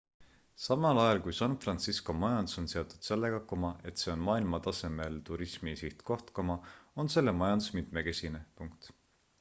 samal ajal kui san fransisco majandus on seotud sellega et see on maailmatasemel turismisihtkoht on selle majandus mitmekesine